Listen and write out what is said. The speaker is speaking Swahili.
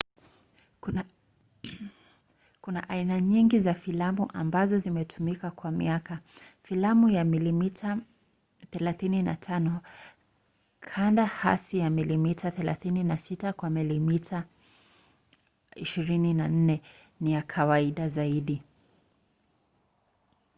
kuna aina nyingi za filamu ambazo zimetumika kwa miaka. filamu ya milimita 35 kanda hasi ya milimita 36 kwa milimita 24 ni ya kawaida zaidi